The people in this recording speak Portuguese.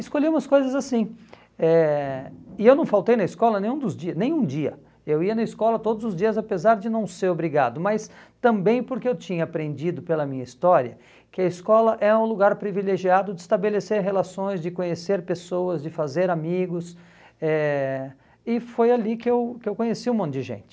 Escolhi umas coisas assim, eh e eu não faltei na escola nenhum dos dias nenhum dia, eu ia na escola todos os dias apesar de não ser obrigado, mas também porque eu tinha aprendido pela minha história que a escola é um lugar privilegiado de estabelecer relações, de conhecer pessoas, de fazer amigos, eh e foi ali que eu que eu conheci um monte de gente.